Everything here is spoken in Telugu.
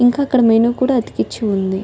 ఇంకా అక్కడ మెనూ కూడా అతికిచ్చి ఉంది.